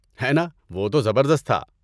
ہے نا! وہ تو زبردست تھا۔